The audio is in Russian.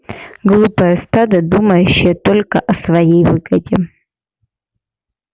глупое стадо думающее только о своей выгоде